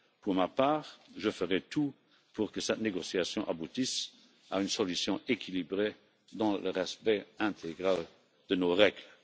Pour ma part, je ferai tout pour que cette négociation aboutisse à une solution équilibrée dans le respect intégral de nos règles.